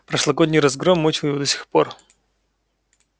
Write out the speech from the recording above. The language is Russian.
прошлогодний разгром мучил его до сих пор